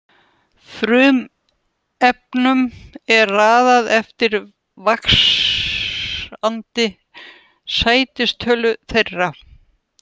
Frumefnunum er raðað eftir vaxandi sætistölu þeirra.